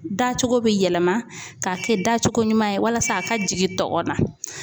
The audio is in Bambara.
Da cogo be yɛlɛma k'a kɛ dacogo ɲuman ye walasa a ka jigin tɔgɔn na.